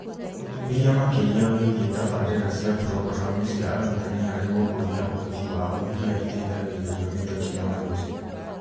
Ũtuĩria makĩria wĩgiĩ tabarĩra cia programu cia arutani harĩ gũkũria ũhoti wao iria iteithagĩrĩrio nĩ tekinolonjĩ